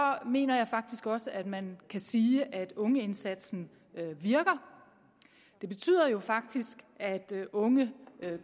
mener jeg faktisk også at man kan sige at ungeindsatsen virker den betyder faktisk at unge